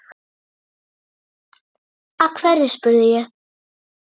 Af hverju? spurði ég.